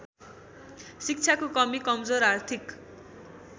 शिक्षाको कमी कमजोर आर्थिक